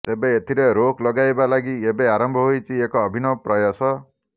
ତେବେ ଏଥିରେ ରୋକ ଲଗାଇବା ଲାଗି ଏବେ ଆରମ୍ଭ ହୋଇଛି ଏକ ଅଭିନବ ପ୍ରୟାସ